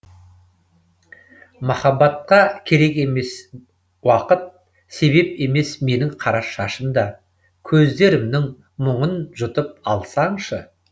махаббатқа керек емес уақыт себеп емес менің қара шашым да көздерімнің мұңын жұтып алсаңшы